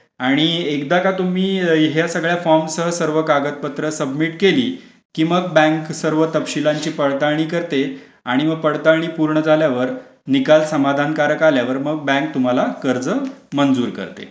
आणि एकदा का तुम्ही ह्या सगळ्या फॉर्म सर्व कागदपत्र सबमिट केली की मग बँक सर्व तपशिलांची पडताळणी करते आणि व पडताळणी पूर्ण झाल्यावर निकाल समाधानकारक आल्यावर मग बँक तुम्हाला कर्ज मंजूर करते.